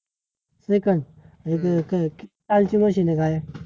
second